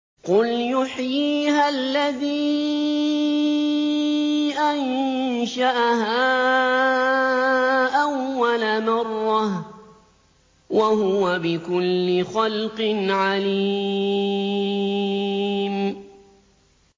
قُلْ يُحْيِيهَا الَّذِي أَنشَأَهَا أَوَّلَ مَرَّةٍ ۖ وَهُوَ بِكُلِّ خَلْقٍ عَلِيمٌ